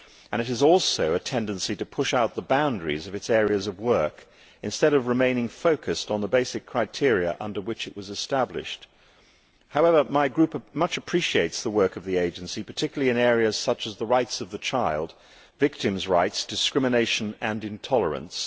It also has a tendency to push out the boundaries of its areas of work instead of remaining focused on the basic criteria under which it was established. However, my group much appreciates the work of the agency, particularly in areas such as the rights of the child, victims' rights, discrimination and intolerance.